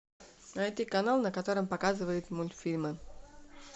найти канал на котором показывают мультфильмы